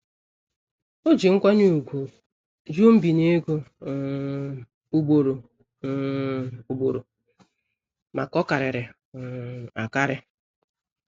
O ji nkwanye ùgwù jụ nbinye ego um ugboro um ugboro maka ọkarịrị um akarị.